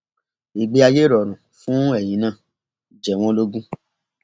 ìgbé ayé ìrọrùn fún ẹyin náà jẹ wọn lógún